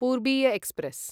पूर्बीय express